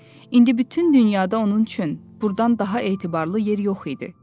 İndi bütün dünyada onun üçün burdan daha etibarlı yer yox idi.